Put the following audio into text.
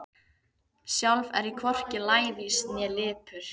Sjálf er ég hvorki lævís né lipur.